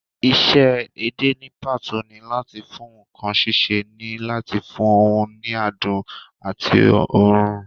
Isẹ́ edé ní pàtó ni láàti fún ǹkan sísè ní láti fún un ní adùn àti òórùn